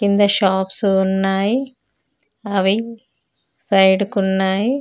కింద షాప్సు ఉన్నాయి. అవి సైడు కున్నాయ్.